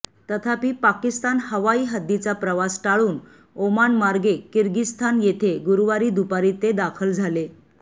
तथापि पाकिस्तान हवाई हद्दीचा प्रवास टाळून ओमान मार्गे किर्गिस्थान येथे गुरुवारी दुपारी ते दाखल झाले